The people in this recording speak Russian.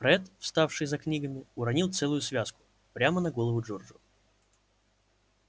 фред вставший за книгами уронил целую связку прямо на голову джорджу